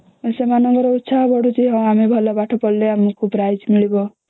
ସେମାନଙ୍କର ଇଚ୍ଛା ବି ବଢୁଛି ହଁ ଆମେ ଭଲ ପାଠ ପଢିଲେ ଆମକୁ prize ମିଳିବ